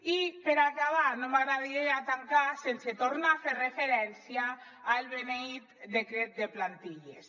i per acabar no m’agradaria tancar sense tornar a fer referència al beneït decret de plantilles